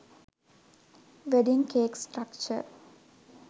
wedding cake structure